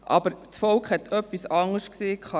Aber das Volk hat dazu etwas anderes gesagt.